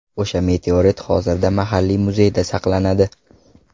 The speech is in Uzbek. O‘sha meteorit hozirda mahalliy muzeyda saqlanadi.